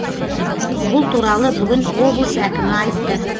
бұл туралы бүгін облыс әкімі айтты